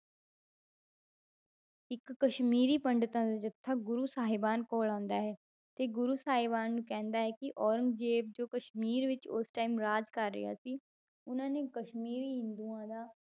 ਇੱਕ ਕਸ਼ਮੀਰੀ ਪੰਡਿਤਾਂ ਦਾ ਜੱਥਾ ਗੁਰੂ ਸਾਹਿਬਾਨ ਕੋਲ ਆਉਂਦਾ ਹੈ, ਤੇ ਗੁਰੂ ਸਾਹਿਬਾਨ ਨੂੰ ਕਹਿੰਦਾ ਹੈ ਕਿ ਔਰੰਗਜ਼ੇਬ ਜੋ ਕਸ਼ਮੀਰ ਵਿੱਚ ਉਸ time ਰਾਜ ਕਰ ਰਿਹਾ ਸੀ ਉਹਨਾਂ ਨੇ ਕਸ਼ਮੀਰੀ ਹਿੰਦੂਆਂ ਦਾ,